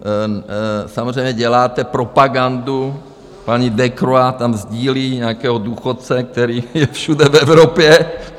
Samozřejmě děláte propagandu, paní Decroix tam sdílí nějakého důchodce, který je všude v Evropě.